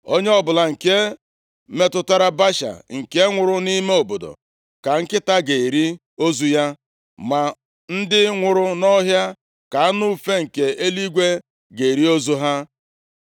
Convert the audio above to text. + 16:4 \+xt 1Ez 14:11; 21:24\+xt*Onye ọbụla nke metụtara Baasha nke nwụrụ nʼime obodo ka nkịta ga-eri ozu ya, ma ndị nwụrụ nʼọhịa ka anụ ufe nke eluigwe ga-eri ozu ha.”